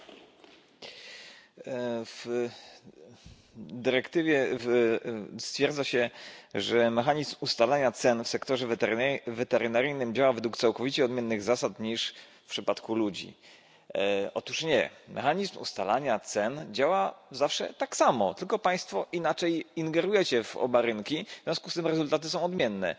Panie Przewodniczący! W dyrektywie stwierdza się, że mechanizm ustalania cen w sektorze weterynaryjnym działa według całkowicie odmiennych zasad niż w przypadku ludzi. Otóż nie, mechanizm ustalania cen działa zawsze tak samo, tylko Państwo inaczej ingerujecie w oba rynki, w związku z tym rezultaty są odmienne.